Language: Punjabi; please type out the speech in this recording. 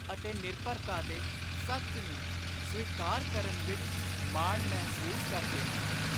ਅਤੇ ਨਿਰਭਰਤਾ ਦੇ ਸੱਚ ਨੂੰ ਸਵੀਕਾਰ ਕਰਨ, ਵਿੱਚ, ਮਾਣ, ਮਹਿਸੂਸ, ਕਰਦੇ, ਹਨ।